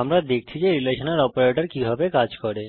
আমরা দেখছি relational operator কিভাবে কাজ করে